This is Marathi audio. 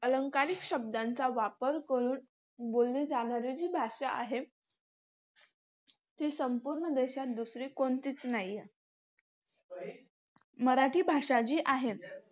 अलंकारिक शब्दांचा वापर करून बोलली जाणारी जी भाषा ती संपूर्ण देशात दुसरी कोणतीच नाहीये. मराठी भाषा जी आहे,